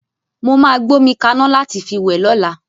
Mó máa gbómi kaná láti fi wẹ̀ lọ́la.